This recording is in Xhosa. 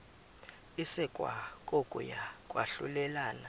isekwa kokuya kwahlulelana